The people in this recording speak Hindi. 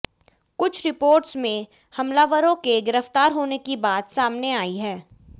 कुछ रिपोर्ट्स में हमलावरों के गिरफ्तार होने की बात सामने आई है